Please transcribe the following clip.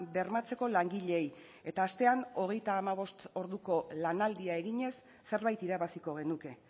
bermatzeko langileei eta astean hogeita hamabost orduko lanaldia eginez zerbait irabaziko genuke